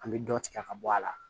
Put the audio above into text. An bɛ dɔ tigɛ ka bɔ a la